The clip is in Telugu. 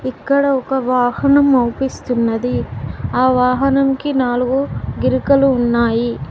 ఇక్కడ ఒక వాహనం అవుపిస్తున్నది ఆ వాహనం కి నాలుగు గిరాకలు ఉన్నాయి